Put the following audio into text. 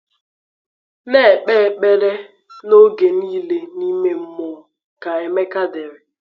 “Na-ekpe ekpere “Na-ekpe ekpere n’oge niile n’ime mmụọ,” ka Emeka dere.